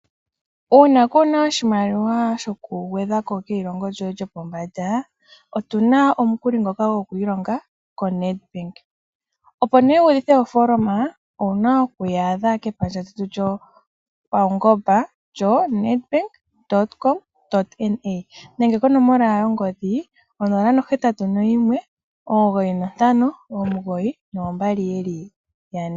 Uuna kuu na oshimaliwa shokugwedha ko keilongo lyoye lyopombanda, otu na omukuli ngoka goku ilonga koNedbank. Opo nduno wu udhithe ofooloma, owu na oku yi adha kepandja lyawo lyoNedbank lyoNedbank.com.na nenge konomola yongodhi 081 9592222.